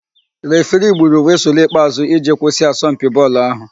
Refiri gburu wịsụlụ ikpeàzụ́ iji kwụsị asọmpi bọọlụ áhụ̀.